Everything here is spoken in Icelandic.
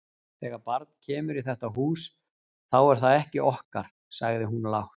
Þegar barn kemur í þetta hús, þá er það ekki okkar, sagði hún lágt.